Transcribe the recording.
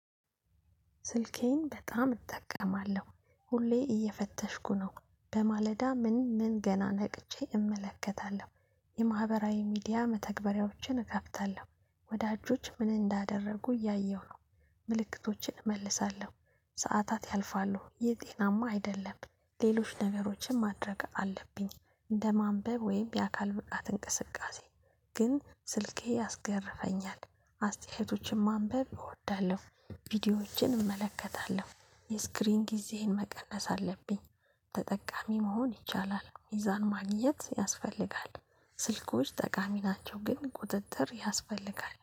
ስልኬን በጣም እጠቀማለሁ። ሁሌ እየፈተሽኩ ነው። በማለዳ ምን ምን ገና ነቅቼ እመለከታለሁ። የማህበራዊ ሚዲያ መተግበሪያዎችን እከፍታለሁ። ወዳጆች ምን እንዳደረጉ እያየሁ ነው። ምልክቶችን እመልሳለሁ። ሰዓታት ያልፋሉ። የጤናማ አይደለም። ሌሎች ነገሮችን ማድረግ አለብኝ። እንደ ማንበብ ወይም የአካል ብቃት እንቅስቃሴ። ግን ስልኬ ያስገርፈኛል። አስተያየቶችን ማንበብ እወዳለሁ ቪዲዮዎችን እመለከታለሁ። የስክሪን ጊዜህን መቀነስ አለብኝ። ተጠቃሚ መሆን ይቻላል። ሚዛን ማግኘት ያስፈልጋል። ስልኮች ጠቃሚ ናቸው። ግን ቁጥጥር ያስፈልጋል።